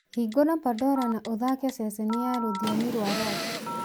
hingũra pandora na ũthaake ceceni ya rũthiomi rwa rock